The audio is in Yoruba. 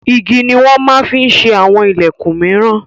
Igi ni wọn máa ń fi ṣe àwọn ìlẹ̀kun míràn.